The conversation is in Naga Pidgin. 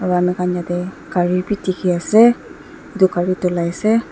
aro amikhan yatae gari bi dikhiase edu gari dhulaiase.